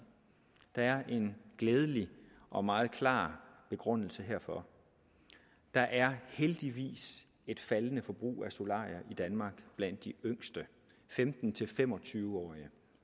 der er en glædelig og meget klar begrundelse herfor der er heldigvis et faldende forbrug af solarier i danmark blandt de yngste femten til fem og tyve årige